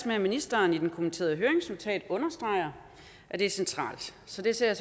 med at ministeren i det kommenterede høringsnotat understreger at det er centralt så det ser